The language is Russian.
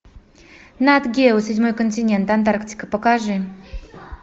нат гео седьмой континент антарктика покажи